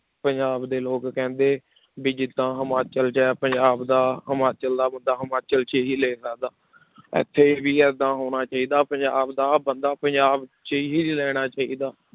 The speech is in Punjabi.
ਪੰਜਾਬ ਦੇ ਲੋਕ ਕਹਿੰਦੇ ਵੀ ਜਿੱਦਾਂ ਹਿਮਾਚਲ 'ਚ ਹੈ ਪੰਜਾਬ ਦਾ ਹਿਮਾਚਲ ਦਾ ਬੰਦਾ ਹਿਮਾਚਲ 'ਚ ਹੀ ਲੈ ਸਕਦਾ ਇੱਥੇ ਵੀ ਏਦਾਂ ਹੋਣਾ ਚਾਹੀਦਾ, ਪੰਜਾਬ ਦਾ ਬੰਦਾ ਪੰਜਾਬ 'ਚ ਹੀ ਰਹਿਣਾ ਚਾਹੀਦਾ